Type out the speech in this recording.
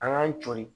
An k'an cori